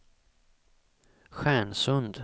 Stjärnsund